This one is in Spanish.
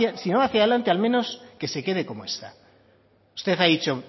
va hacia adelante al menos que se quede como está usted ha dicho